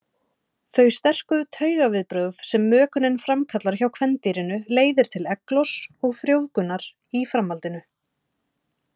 Þau sterku taugaviðbrögð sem mökunin framkallar hjá kvendýrinu leiðir til eggloss og frjóvgunar í framhaldinu.